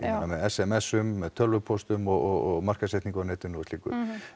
með s m s um með tölvupóstum og markaðssetningu á netinu og slíku